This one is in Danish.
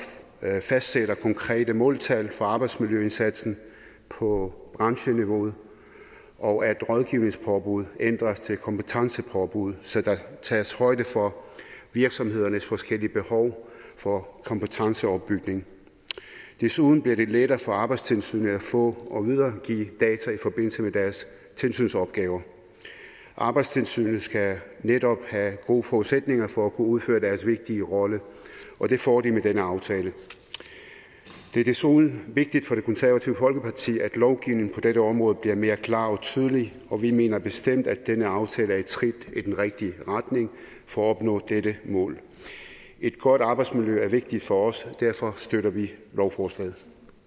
fastsætter konkrete måltal for arbejdsmiljøindsatsen på brancheniveau og at rådgivningspåbud ændres til kompetencepåbud så der tages højde for virksomhedernes forskellige behov for kompetenceopbygning desuden bliver det lettere for arbejdstilsynet at få og videregive data i forbindelse med deres tilsynsopgaver arbejdstilsynet skal netop have gode forudsætninger for at kunne udføre deres vigtige rolle og det får de med denne aftale det er desuden vigtigt for det konservative folkeparti at lovgivningen på dette område bliver mere klar og tydelig og vi mener bestemt at denne aftale er et skridt i den rigtige retning for at opnå dette mål et godt arbejdsmiljø er vigtigt for os derfor støtter vi lovforslaget